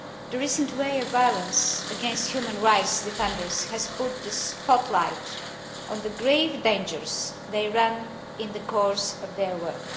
The recent wave of violence against human rights defenders has put the spotlight on the grave dangers they run in the course of their work.